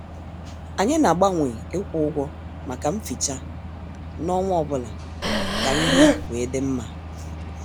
Anyị na- agbanwe ikwu ụgwọ maka mficha n' ọnwa ọbụla ka ihe wee dị mma.